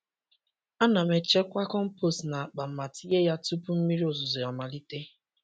Ana m echekwa compost n’akpa ma tinye ya tupu mmiri ozuzo amalite.